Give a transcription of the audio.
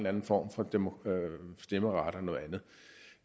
anden form for stemmeret